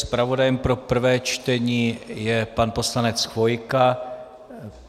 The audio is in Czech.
Zpravodajem pro prvé čtení je pan poslanec Chvojka.